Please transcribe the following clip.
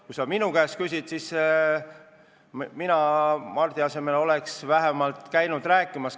Kui sa minu arvamust küsid, siis mina Mardi asemel oleks vähemalt käinud rääkimas.